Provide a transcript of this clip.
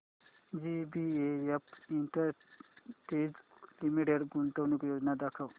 JBF industries limited गुंतवणूक योजना दाखव